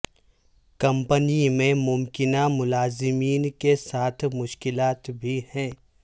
company میں ممکنہ ملازمین کے ساتھ مشکلات بھی ہیں